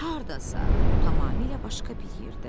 Hardasa, tamamilə başqa bir yerdə.